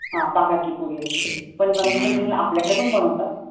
हा पाकातली पुरी असते पण रंअग पंचमीला आपल्या पण कडे बनवतात